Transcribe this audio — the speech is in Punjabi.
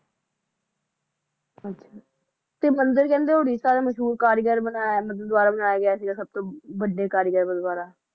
ਅੱਛਾ ਤੇ ਮੰਦਰ ਕਹਿੰਦੇ ਉੜੀਸਾ ਦੇ ਮਸ਼ਹੂਰ ਕਾਰੀਗਰ ਦੁਆਰਾ ਬਣਾਇਆ ਗਿਆ ਸੀ ਸੱਭ ਤੋ ਵੱਡੇ ਕਾਰੀਗਰ ਦੁਆਰਾ